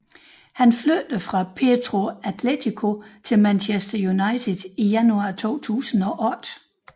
Han flyttede fra Petro Atletico til Manchester United i januar 2008